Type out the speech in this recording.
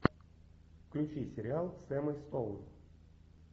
включи сериал с эммой стоун